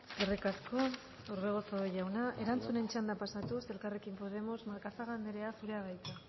eskerrik asko orbegozo jauna erantzunen txanda pasatuz elkarrekin podemos macazaga anderea zurea da hitza